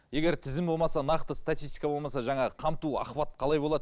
егер тізім болмаса нақты статитсика болмаса жаңағы қамту охваты қалай болады